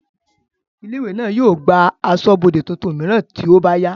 ilé ìwé náà yóò gba asọ́bọdè tuntun mìíràn tí ó bá yá